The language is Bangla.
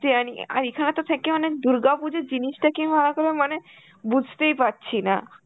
যায়নি, আর এখানে তো থেকে মানে দুর্গাপুজো জিনিসটা কি মানে বুঝতেই পারছি না.